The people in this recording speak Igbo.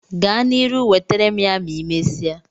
Gaa na iru, wetere m ya ma imesia